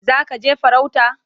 Za ka je farauta?